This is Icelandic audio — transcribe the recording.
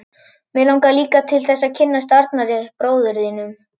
Mig langar líka til þess að kynnast Arnari, bróður þínum.